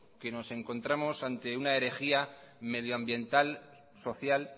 nos encontramos ante una herejía medioambiental social